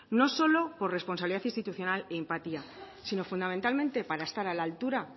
no solo por responsabilidad institucional y empatía sino fundamentalmente para estar a la altura